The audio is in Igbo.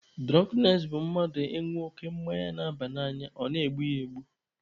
Dụrọnknes bụ mmadụ ịṅụ oke mmanya na-aba n'anya ọ na-egbu ya egbu.